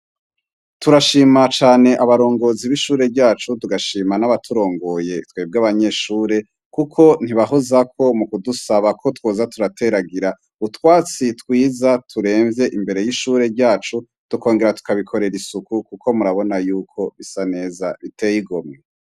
Turashima cane abarongozi b'ishure ryacu tugashima n'abaturongoye twebwe abanyeshure, kuko ntibahozakwo mu kudusaba ko twoza turateragira utwatsi twiza turemvye imbere y'ishure ryacu tukongera tukabikorera isuku, kuko murabona yuko bisa neza biteyeigomye.